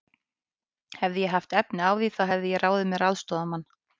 Hefði ég haft á því efni, þá hefði ég ráðið mér aðstoðarmann.